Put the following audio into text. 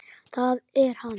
Það er hann.